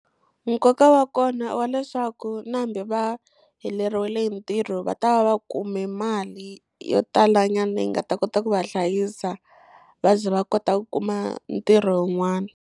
Nkoka wa kona i wa leswaku na hambi va heleriwile hi ntirho va ta va va kume mali yo tala nyana leyi nga ta kota ku va hlayisa va ze va kota ku kuma ntirho wun'wana.